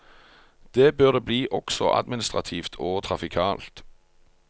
Det bør det bli også administrativt og trafikalt.